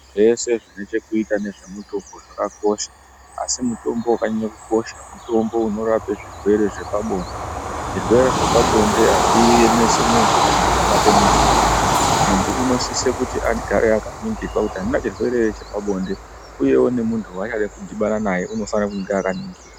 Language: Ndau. Zvese zvine chekuita nezvemutombo zvakakosha asi mutombo wakanyanye kukosha mutombo unorape zvirwere zvepabonde. Zvirwere zvepabonde hazviemesi muntu kana chikabate muntu zviya. Muntu unosise kuti agare akaningirwa kuti handina ere chirwere chepabonde uyewo muntu waanyade kudhibane naye unofane kunge akaningirwa.